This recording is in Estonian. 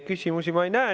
Küsimusi ma ei näe.